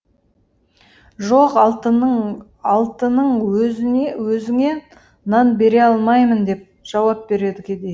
жоқ алтының өзіңе нан бере алмаймын деп жауап береді кедей